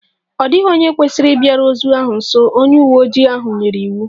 Ọ dịghị onye kwesịrị ịbịaru ozu ahụ nso! Onye uwe ojii ahụ nyere iwu